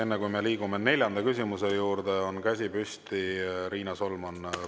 Enne, kui me liigume neljanda küsimuse juurde, on käsi püsti Riina Solmanil.